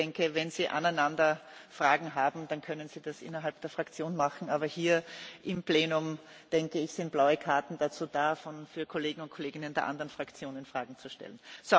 Ich denke, wenn Sie aneinander Fragen haben, dann können Sie das innerhalb der Fraktion machen, aber hier im Plenum sind blaue Karten dazu da, den Kolleginnen und Kollegen der anderen Fraktionen Fragen zu stellen.